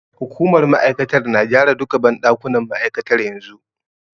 Hukumar ma'aikatar na gyara duka banɗakunan ma'aikatar yanzu.